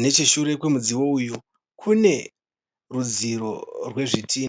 Necheshure kwemudziyo uyu kune rudziro rwezvidhinha.